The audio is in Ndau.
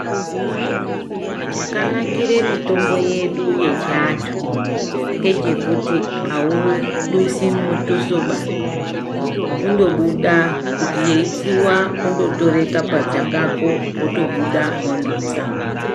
Chakanakire mitombo yedu yechiantu ngechekuti audusi mutusoba kundobuda kuti yeyi tsiwa kundotere kabadza kako wotobuda wondotsa.